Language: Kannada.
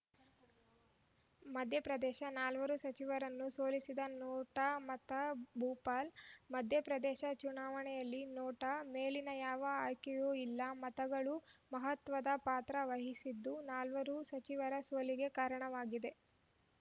ಮಧ್ಯ ಪ್ರದೇಶ ನಾಲ್ವರು ಸಚಿವರನ್ನು ಸೋಲಿಸಿದ ನೋಟಾ ಮತ ಭೋಪಾಲ್‌ ಮಧ್ಯ ಪ್ರದೇಶ ಚುನಾವಣೆಯಲ್ಲಿ ನೋಟಾ ಮೇಲಿನ ಯಾವ ಆಯ್ಕೆಯೂ ಇಲ್ಲ ಮತಗಳು ಮಹತ್ವದ ಪಾತ್ರ ವಹಿಸಿದ್ದು ನಾಲ್ವರು ಸಚಿವರ ಸೋಲಿಗೆ ಕಾರಣವಾಗಿದೆ